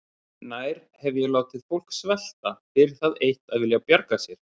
Nær hef ég látið fólk svelta fyrir það eitt að vilja bjarga sér?